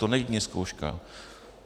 To není jen zkouška.